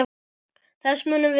Þess munum við sakna.